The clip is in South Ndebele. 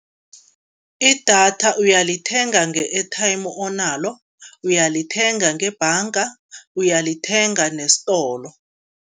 Idatha uyalithenga nge-airtime onalo, uyalithenga ngebhanga, uyalithenga nesitolo.